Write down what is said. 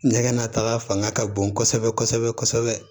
Nɛgɛnnataga fanga ka bon kɔsɛbɛ kɔsɛbɛ kɔsɛbɛ